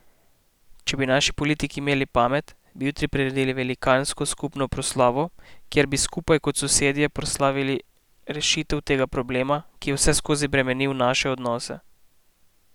Če bi naši politiki imeli pamet, bi jutri priredili velikansko skupno proslavo, kjer bi skupaj kot sosedje proslavili rešitev tega problema, ki je vseskozi bremenil naše odnose.